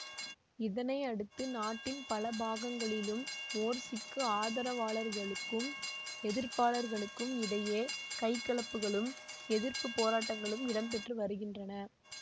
இதனை அடுத்து நாட்டின் பல பாகங்களிலும் மோர்சிக்கு ஆதரவாளர்களுக்கும் எதிர்ப்பாளர்களுக்கும் இடையே கைகலப்புகளும் எதிர்ப்பு போராட்டங்களும் இடம்பெற்று வருகின்றன